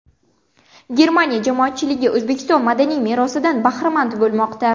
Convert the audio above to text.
Germaniya jamoatchiligi O‘zbekiston madaniy merosidan bahramand bo‘lmoqda.